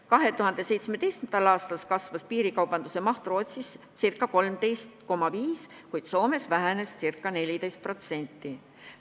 2017. aastal kasvas piirikaubanduse maht Rootsis ca 13,5%, kuid Soomes vähenes ca 14%.